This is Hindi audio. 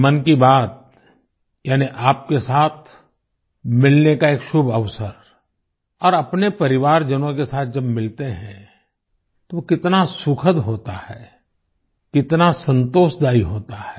मन की बात यानि आपके साथ मिलने का एक शुभ अवसर और अपने परिवारजनों के साथ जब मिलते हैं तो वो कितना सुखद होता है कितना संतोषदायी होता है